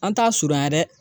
An t'a surunya dɛ